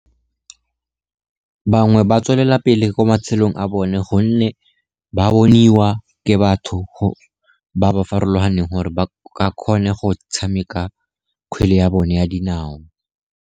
Bangwe ba tswelelapele mo matshelong a bone, gonne ba boniwa ke batho ba ba farologaneng gore ba kgone go tshameka kgwele ya bone ya dinao.